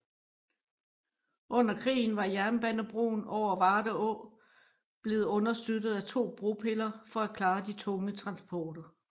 Under krigen var jernbanebroen over Varde Å blevet understøttet af to bropiller for at klare de tunge transporter